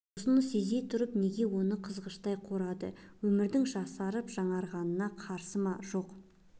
осыны сезе тұрып неге оны қызғыштай қорғайды өмірдің жасарып жаңғырғанына қарсы ма жоқ